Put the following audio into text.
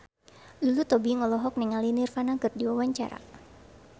Lulu Tobing olohok ningali Nirvana keur diwawancara